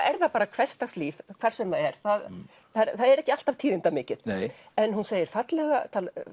er það bara hversdagslíf hvar sem það er það er ekki alltaf en hún segir fallega